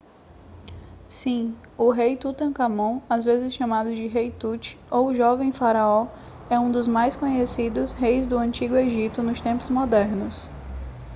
sim o rei tutancâmon às vezes chamado de rei tut ou jovem faraó é um dos mais conhecidos reis do antigo egito nos tempos modernos